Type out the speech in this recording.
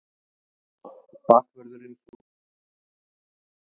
Bakvörðurinn fór strax upp á sjúkrahús.